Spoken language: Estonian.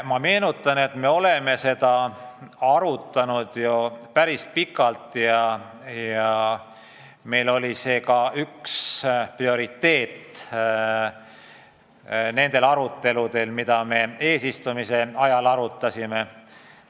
Ma meenutan, et me oleme seda arutanud ju päris pikalt ja see oli ka üks prioriteetseid teemasid nendel aruteludel, mida me eesistumise ajal pidasime.